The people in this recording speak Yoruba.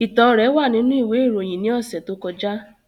Itan rẹ wa ninu iwe iroyin ni ọsẹ to kọja.